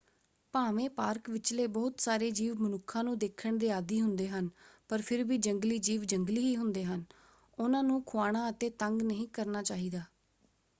ਭਾਵੇਂ ਪਾਰਕ ਵਿਚਲੇ ਬਹੁਤ ਸਾਰੇ ਜੀਵ ਮਨੁੱਖਾਂ ਨੂੰ ਦੇਖਣ ਦੇ ਆਦੀ ਹੁੰਦੇ ਹਨ ਪਰ ਫਿਰ ਵੀ ਜੰਗਲੀ ਜੀਵ ਜੰਗਲੀ ਹੀ ਹੁੰਦੇ ਹਨ ਉਹਨਾਂ ਨੂੰ ਖੁਆਉਣਾ ਅਤੇ ਤੰਗ ਨਹੀਂ ਕਰਨਾ ਚਾਹੀਦਾ।